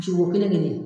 Jogo kelen kelen